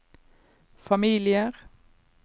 familier